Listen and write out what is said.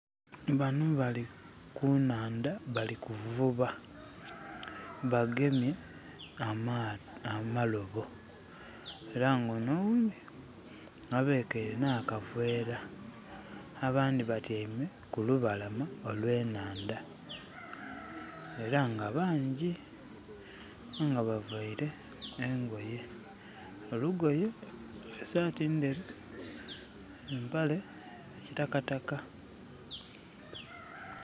Bano bali kunaandha bali kuvuba bagemye amalobo era nga ono oghundi abekeire na kavera. Abandhi batyaime ku lubalama olwenhandha era nga bangi. Nga bavaire engoye. Olugoye esati nderu ne mpale ya kitakataka.